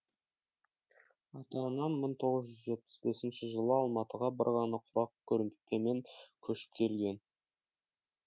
ата анам мың тоғыз жүз жетпіс бесінші жылы алматыға бір ғана құрақ көрпемен көшіп келген